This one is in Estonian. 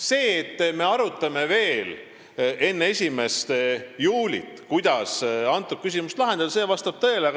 See, et me arutame veel enne 1. juulit, kuidas neid küsimusi lahendada, vastab tõele.